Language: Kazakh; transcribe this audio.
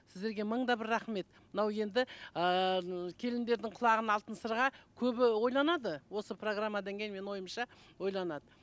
сіздерге мың да бір рахмет мынау енді ыыы келіндердің құлағына алтын сырға көбі ойланады осы программадан кейін менің ойымша ойланады